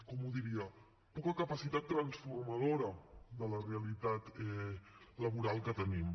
com ho diria poca capacitat transformadora de la realitat laboral que tenim